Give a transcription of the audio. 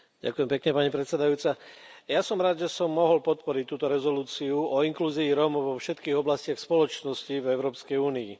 Ďakujem pekne, pani predsedajúca, som rád, že som mohol podporiť túto rezolúciu o inklúzii Rómov vo všetkých oblastiach spoločnosti v Európskej únii.